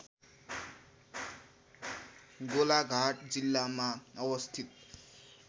गोलाघाट जिल्लामा अवस्थित